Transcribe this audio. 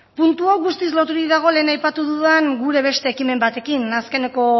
puntu hau guztiz loturik dago lehen aipatu dudan gure beste ekimen batekin azkeneko